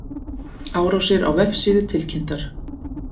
Árásir á vefsíðu tilkynntar